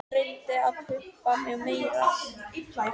Hún reyndi að pumpa mig meira.